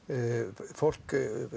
fólk